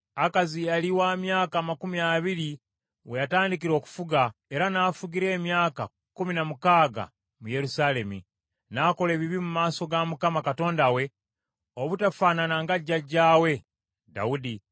Akazi yali wa myaka amakumi abiri we yatandikira okufuga, era n’afugira emyaka kkumi na mukaaga mu Yerusaalemi. N’akola ebibi mu maaso ga Mukama Katonda we, obutafaanana nga jjajjaawe Dawudi.